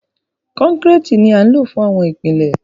Kọ́kọ́rẹ́ẹ̀tì ni a lò fún àwọn ìpìlẹ̀.